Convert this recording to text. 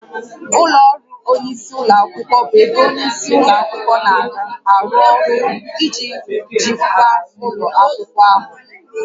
Ụlọ ọrụ onyeisi ụlọ akwụkwọ bụ ebe onye isi ụlọ akwụkwọ na-arụ ọrụ iji jikwaa ụlọ akwụkwọ ahụ